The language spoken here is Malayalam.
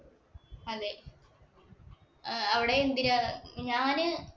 അതേ, അവിടെ എന്തിനാ? ഞാന്